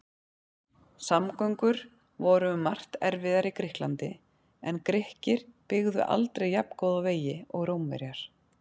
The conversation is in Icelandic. Samgöngur voru um margt erfiðar í Grikklandi en Grikkir byggðu aldrei jafngóða vegi og Rómverjar.